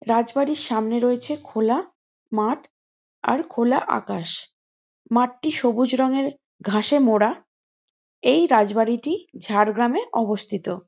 রাজবাড়ীর সামনে রয়েছে খোলা মাঠ আর খোলা আকাশ মাঠটি সবুজ রঙের ঘাসে মোরা এই রাজবাড়িটি ঝাড়গ্রাম এ অবস্থিত।